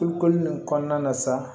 Tulu koli in kɔnɔna na sa